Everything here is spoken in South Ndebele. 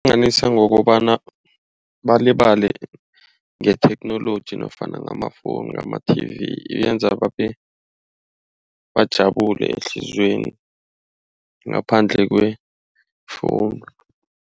ngokobana balibala ngetheknoloji nofana ngamafowuni ngama-TV yenza babe, bajabulile ehliziyweni ngaphandle kwefowuni.